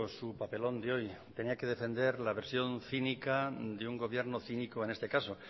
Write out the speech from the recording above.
su papelón de hoy tenía que defender la versión cínica de un gobierno cínico en este caso